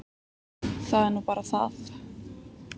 Það er nú bara það.